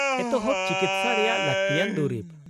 -ᱮᱛᱚᱦᱚᱵ ᱪᱤᱠᱤᱥᱥᱟ ᱨᱮᱭᱟᱜ ᱞᱟᱹᱠᱛᱤᱭᱟᱱ ᱫᱩᱨᱤᱵ ?